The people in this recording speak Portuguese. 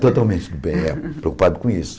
Totalmente do bem, é, preocupado com isso.